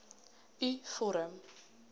u vorm